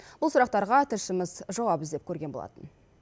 бұл сұрақтарға тілшіміз жауап іздеп көрген болатын